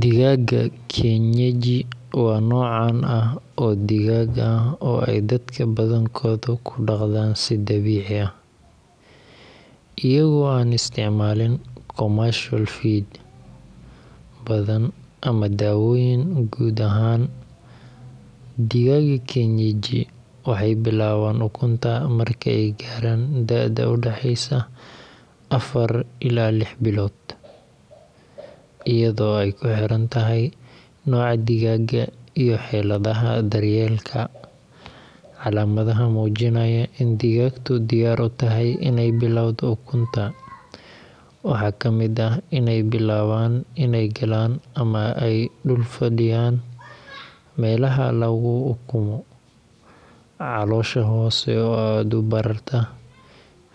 Digaaga kienyeji waa nooc caan ah oo digaag ah oo ay dadka badankoodu ku dhaqdaan si dabiici ah, iyagoo aan isticmaalin commercial feed badan ama daawooyin. Guud ahaan, digaagga kienyeji waxay bilaabaan ukunta marka ay gaaraan da'da u dhaxaysa afar ilaa lix bilood, iyadoo ay ku xiran tahay nooca digaagga iyo xaaladaha daryeelka. Calaamadaha muujinaya in digaagtu diyaar u tahay inay bilowdo ukunta waxaa ka mid ah inay bilaabaan inay galaan ama ay dul fadhiyaan meelaha lagu ukumo, caloosha hoose oo aad u bararta,